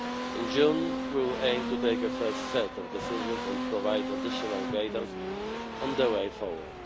optimist. In June we will aim to take a first set of decisions and provide additional guidance on the way